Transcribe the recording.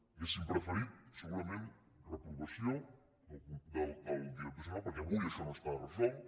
hauríem preferit segurament reprovació del director general perquè avui això no està resolt